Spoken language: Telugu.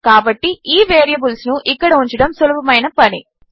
కాబట్టి ఈ వేరీబుల్స్ను ఇక్కడ ఉంచడము సులభమైన పని